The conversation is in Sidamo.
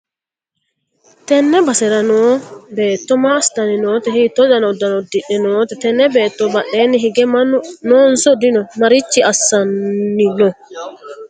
tenne basera noo beetto maa assitanni noote? hiitto dani uddano uddidhe noote? tenne beetto badheenni hige mannu noonso dino? maricho assanni no?